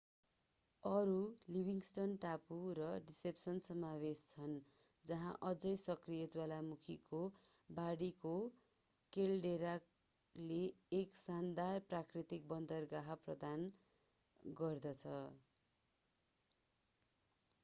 अरू लिभिंग्स्टन टापु र डिसेप्सन समावेश छन् जहाँ अझै सक्रिय ज्वालामुखीको बाढीको केल्डेराले एक सानदार प्राकृतिक बन्दरगाह प्रदान गर्दछ